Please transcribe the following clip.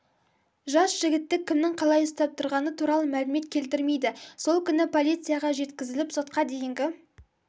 жас жігітті кімнің қалай ұстап тұрғаны туралы мәлімет келтірмейді сол күні полицияға жеткізіліп сотқа дейінгі